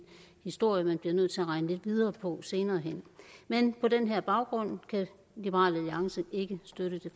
historie man bliver nødt til at regne lidt videre på senere hen men på den her baggrund kan liberal alliance ikke støtte